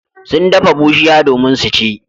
Sun dafa bushiya domin su ci.